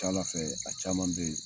A ka ca ALA fɛ a caman bɛ yen.